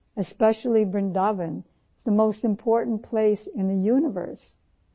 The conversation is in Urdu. اس لئے بھارت ، خاص طور پر ورندا وَن پوری کائنات میں سب سے اہم مقام ہے